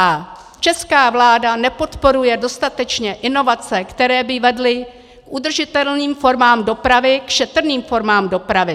A česká vláda nepodporuje dostatečně inovace, které by vedly k udržitelným formám dopravy, k šetrným formám dopravy.